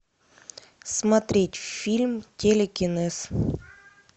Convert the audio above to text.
смотреть фильм телекинез